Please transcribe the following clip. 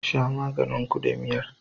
Sha maganin ku da biyar